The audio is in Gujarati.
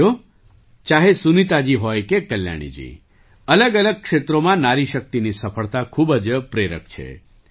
સાથીઓ ચાહે સુનીતાજી હોય કે કલ્યાણીજી અલગઅલગ ક્ષેત્રોમાં નારી શક્તિની સફળતા ખૂબ જ પ્રેરક છે